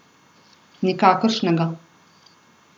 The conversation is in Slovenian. Nikakršnega.